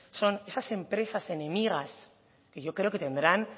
son esas empresas enemigas que yo creo que tendrán